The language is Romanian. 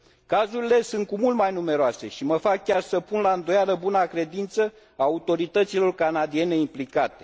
Cazurile sunt cu mult mai numeroase și mă fac chiar să pun la îndoială buna credință a autorităților canadiene implicate.